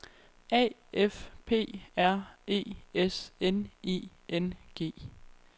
A F P R E S N I N G